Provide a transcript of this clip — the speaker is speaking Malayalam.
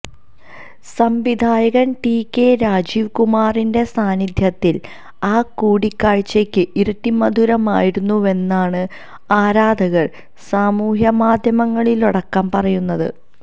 സംവിധായകന് ടി കെ രാജീവ് കുമാറിന്റെ സാന്നിധ്യത്തില് ആ കൂടിക്കാഴ്ച്ചയ്ക്ക് ഇരട്ടി മധുരമായിരുന്നുവെന്നാണ് ആരാധകര് സമൂഹമാധ്യമങ്ങളിലടക്കം പറയുന്നത്